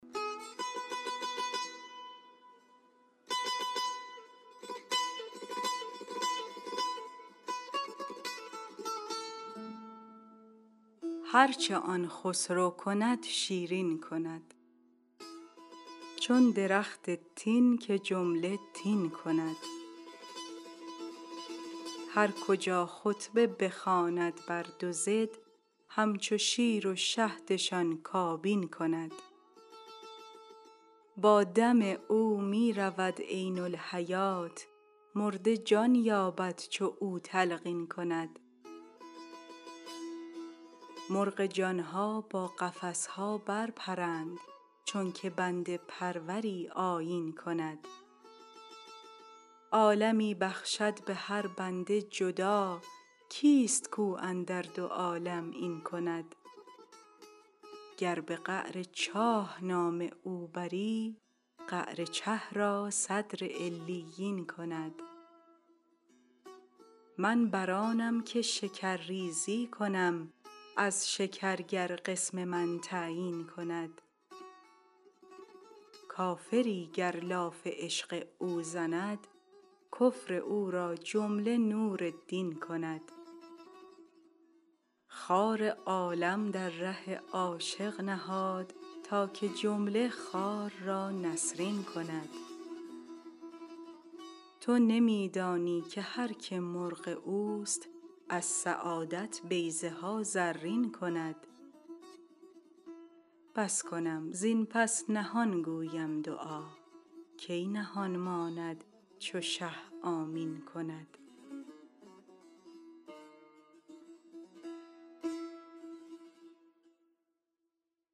هر چه آن خسرو کند شیرین کند چون درخت تین که جمله تین کند هر کجا خطبه بخواند بر دو ضد همچو شیر و شهدشان کابین کند با دم او می رود عین الحیات مرده جان یابد چو او تلقین کند مرغ جان ها با قفس ها برپرند چونک بنده پروری آیین کند عالمی بخشد به هر بنده جدا کیست کو اندر دو عالم این کند گر به قعر چاه نام او بری قعر چه را صدر علیین کند من بر آنم که شکرریزی کنم از شکر گر قسم من تعیین کند کافری گر لاف عشق او زند کفر او را جمله نور دین کند خار عالم در ره عاشق نهاد تا که جمله خار را نسرین کند تو نمی دانی که هر که مرغ اوست از سعادت بیضه ها زرین کند بس کنم زین پس نهان گویم دعا کی نهان ماند چو شه آمین کند